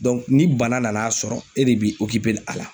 Dɔnku ni bana nana sɔrɔ e de b'i okipe a la